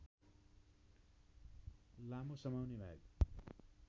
लामो समाउने भाग